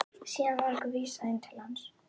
Síðan var okkur vísað inn til hans.